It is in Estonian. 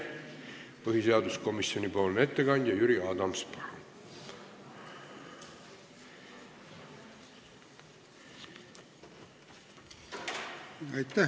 Põhiseaduskomisjoni ettekandja Jüri Adams, palun!